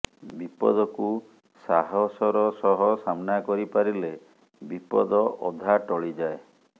ବିପଦକୁ ସାହସର ସହ ସାମ୍ନା କରିପାରିଲେ ବିପଦ ଅଧା ଟଳିଯାଏ